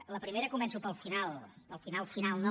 en el primer començo pel final pel final final no